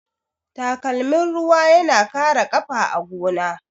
Takalmin ruwa yana kare ƙafa a gona.